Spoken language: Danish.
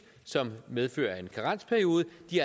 som medfører en karensperiode